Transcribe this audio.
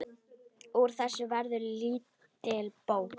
Úr þessu verður lítil bók.